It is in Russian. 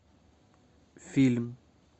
фильм